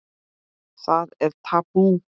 Það er tabú.